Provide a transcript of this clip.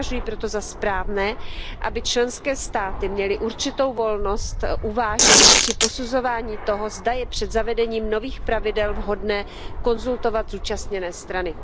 Považuji proto za správné, aby členské státy měly určitou volnost uvážení při posuzování toho, zda je před zavedením nových pravidel vhodné konzultovat zúčastněné strany.